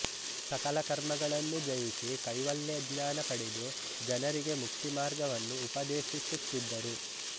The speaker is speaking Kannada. ಸಕಲ ಕರ್ಮಗಳನ್ನು ಜಯಿಸಿ ಕೈವಲ್ಯಜ್ಞಾನ ಪಡೆದು ಜನರಿಗೆ ಮುಕ್ತಿ ಮಾರ್ಗವನ್ನು ಉಪದೇಶಿಸುತ್ತಿದ್ದರು